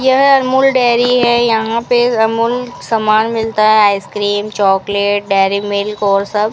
यह अमूल डेयरी है यहां पे अमूल सामान मिलता है आइसक्रीम चॉकलेट डेरी मिल्क और सब --